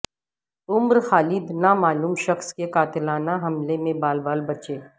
عمر خالد نامعلوم شخص کے قاتلانہ حملے میں بال بال بچے